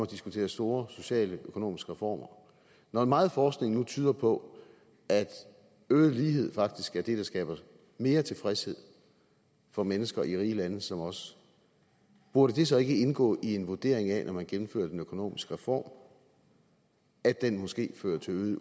diskuterer store sociale og økonomiske reformer når meget forskning nu tyder på at øget lighed faktisk er det der skaber mere tilfredshed for mennesker i rige lande som vores burde det så ikke indgå i en vurdering når man gennemfører den økonomiske reform at den måske fører til øget